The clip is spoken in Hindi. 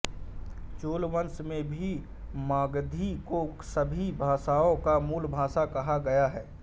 चूलवंश में भी मागधी को सभी भाषाओं का मूल भाषा कहा गया है